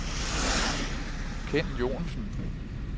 Ken Joensen